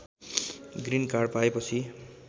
green card पाएपछि